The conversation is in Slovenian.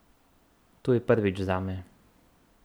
To je prvič zame.